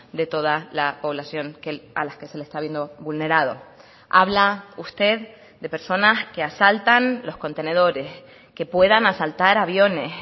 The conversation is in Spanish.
de toda la población a las que se le está viendo vulnerado habla usted de personas que asaltan los contenedores que puedan asaltar aviones